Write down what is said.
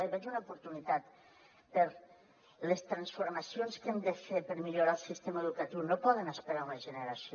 hi veig una oportunitat perquè les transformacions que hem de fer per millorar el sistema educatiu no poden esperar una generació